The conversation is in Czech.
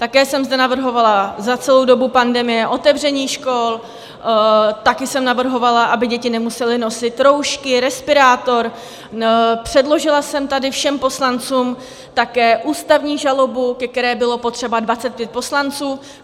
Také jsem zde navrhovala za celou dobu pandemie otevření škol, také jsem navrhovala, aby děti nemusely nosit roušky, respirátory, předložila jsem tady všem poslancům také ústavní žalobu, ke které bylo potřeba 25 poslanců.